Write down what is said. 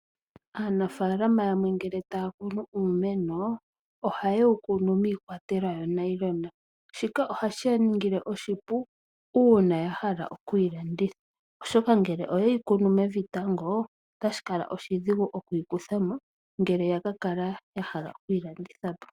Aanafalama yamwe ngele taya kunu uumeno ohaye wukunu miikwatelwa yoo nayilona shika ohashi yaningile oshipu uuna yahala okuyi landitha oshoka ngele oyeyi kunu mevi tango otashi kala oshidhigu okuyi kuthamo ngele yakakala yahala okuyi landithapo.